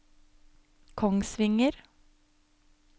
Kongsvinger